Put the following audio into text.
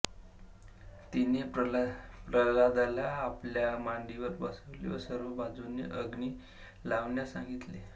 तिने प्रल्हादाला आपल्या मांडीवर बसविले व सर्व बाजूनी अग्नी लावण्यास सांगितले